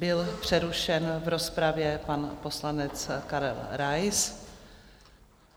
Byl přerušen v rozpravě pan poslanec Karel Rais.